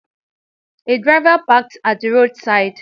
A driver parked at the road side